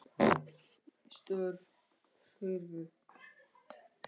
Störf hurfu.